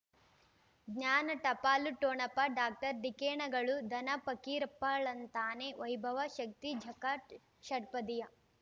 ಜ್ಞಾನ ಟಪಾಲು ಠೊಣಪ ಡಾಕ್ಟರ್ ಢಿಕ್ಕಿ ಣಗಳು ಧನ ಫಕೀರಪ್ಪ ಳಂತಾನೆ ವೈಭವ ಶಕ್ತಿ ಝಗಾ ಷಟ್ಪದಿಯ